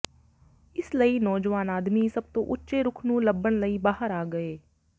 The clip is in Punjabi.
ਇਸ ਲਈ ਨੌਜਵਾਨ ਆਦਮੀ ਸਭ ਤੋਂ ਉੱਚੇ ਰੁੱਖ ਨੂੰ ਲੱਭਣ ਲਈ ਬਾਹਰ ਆ ਗਏ